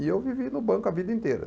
E eu vivi no banco a vida inteira.